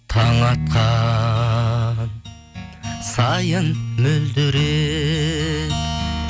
таң атқан сайын мөлдіреп